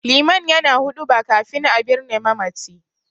Liman yana huɗuba kafin a birne mamaci.